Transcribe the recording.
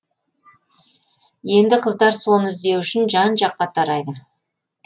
енді қыздар соны іздеу үшін жан жаққа тарайды